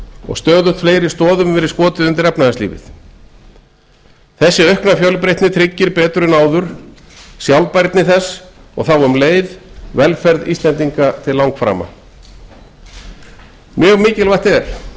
og stöðugt fleiri stoðum hefur verið skotið undir efnahagslífið þessi aukna fjölbreytni tryggir betur en áður sjálfbærni þess og þá um leið velferð íslendinga til langframa mjög mikilvægt er